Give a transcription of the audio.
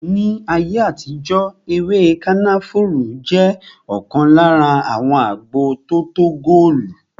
Ní ayé àtijó ewé kànáfùrú jẹ ọkan lára àwọn agbo tótó góòlù